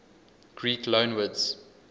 greek loanwords